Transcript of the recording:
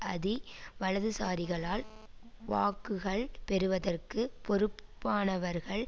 அதி வலதுசாரிகளால் வாக்குகள் பெறுவதற்கு பொறுப்பானவர்கள்